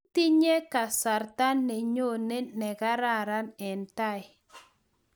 Itinye kasarta nenyone ne kararan eng tai